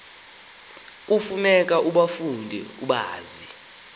kufuneka ubafunde ubazi